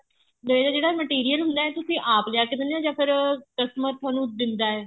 ਜਿਹੜਾ ਜਿਹੜਾ material ਹੁੰਦਾ ਹੈ ਤੁਸੀਂ ਆਪ ਜਾ ਕੇ ਦਿੰਨੇ ਓ ਜਾਂ ਫੇਰ customer ਤੁਹਾਨੂੰ ਦਿੰਦਾ